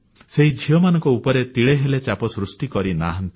ସେହି ଝିଅମାନଙ୍କ ଉପରେ ତିଳେ ହେଲେ ଚାପ ସୃଷ୍ଟି କରିନାହାନ୍ତି